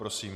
Prosím.